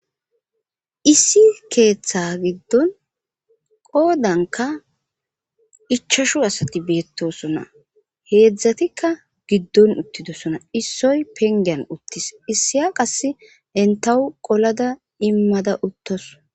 issi keeththe giddon qoodanka ichashu asati beettosona heedzdzatikka giddon uttidosona issoy pengeyan uttis issiya qasse entahu qolada immada uttos